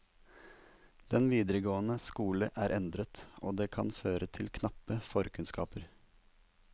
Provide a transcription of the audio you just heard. Den videregående skole er endret, og det kan føre til knappe forkunnskaper.